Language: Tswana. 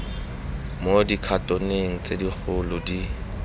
mo dikhatoneng tse segolo di